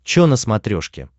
че на смотрешке